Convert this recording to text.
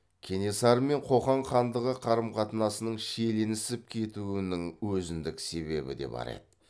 кенесары мен қоқан хандығы қарым қатынасының шиеленісіп кетуінің өзіндік себебі де бар еді